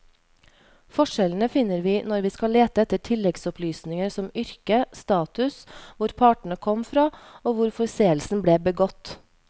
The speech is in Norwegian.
Forskjellene finner vi når vi skal lete etter tilleggsopplysninger som yrke, status, hvor partene kom fra og hvor forseelsen ble begått.